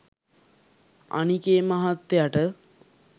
අනික ඒ මහත්තයට